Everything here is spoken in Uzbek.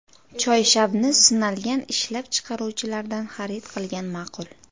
Choyshabni sinalgan ishlab chiqaruvchilardan xarid qilgan ma’qul.